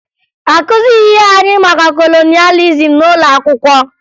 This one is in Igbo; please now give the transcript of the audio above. Akụzighi anyị maka kolonịalizim n'ụlọ akwụkwọ